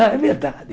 Ah, é verdade.